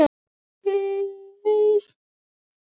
Signý, hver syngur þetta lag?